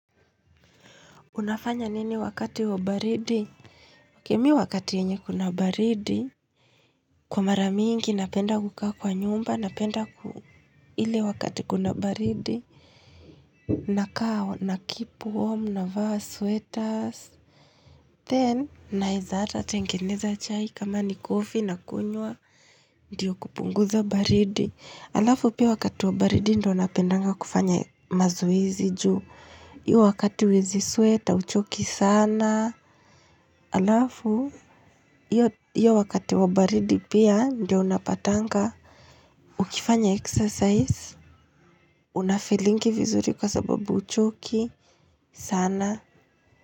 Unafanya nini wakati wa baridi? Okay mi wakati yenye kuna baridi. Kwa mara mingi napenda kukaa kwa nyumba. Napenda ile wakati kuna baridi. Nakaa na keep warm, navaa, sweaters. Then, naeza hata tengeneza chai kama ni coffee nakunywa. Ndio kupunguza baridi. Alafu pia wakati wa baridi ndio napendanga kufanya mazoezi juu. Hiyo wakati huwezi sweat hauchoki sana alafu hiyo wakati wa baridi pia ndio unapatanga ukifanya exercise unafeelingi vizuri kwa sababu huchoki sana.